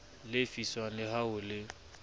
lefiswang le ha ho le